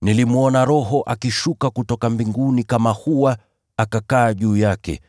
“Nilimwona Roho akishuka kutoka mbinguni kama hua, akakaa juu yake.